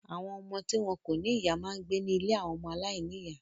Àwọn ọmọ tí wọn kò ní ìyá máa ń gbé ní ilé àwọn ọmọ aláìníìyá.